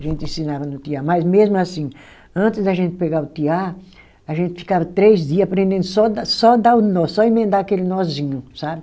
A gente ensinava no tear, mas mesmo assim, antes da gente pegar o tear, a gente ficava três dia aprendendo só dar, só dar o nó, só emendar aquele nozinho, sabe?